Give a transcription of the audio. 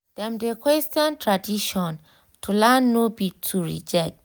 dem de question tradition to learn no be to reject.